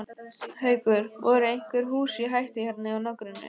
Haukur: Voru einhver hús í hættu hérna í nágrenninu?